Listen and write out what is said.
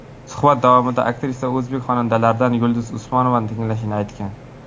Suhbat davomida aktrisa o‘zbek xonandalaridan Yulduz Usmonovani tinglashini aytgan.